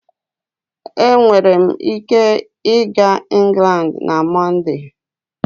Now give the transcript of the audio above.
Enwere m ike ịga England na Mọnde?